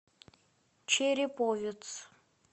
череповец